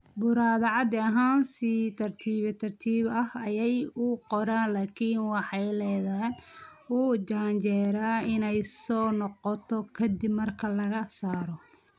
Burada caadi ahaan si tartiib tartiib ah ayey u koraan laakiin waxay leedahay u janjeera inay soo noqoto ka dib marka laga saaro.